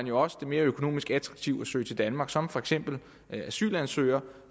jo også mere økonomisk attraktivt at søge til danmark som for eksempel asylansøger